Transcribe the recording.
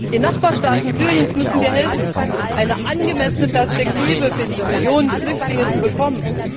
Den Nachbarstaaten Syriens müssen wir helfen, eine angemessene Perspektive für die Millionen Flüchtlinge zu bekommen.